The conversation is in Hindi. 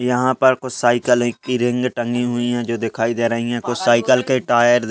यहाँ पर कुछ साइकिले है की रिंग टंगी हुई है जो दिखाई दे रही है कुछ साइकिल के टायर --